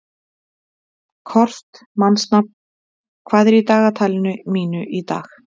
Kort (mannsnafn), hvað er í dagatalinu mínu í dag?